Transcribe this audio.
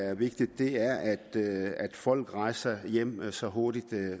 er vigtigt er at folk rejser hjem så hurtigt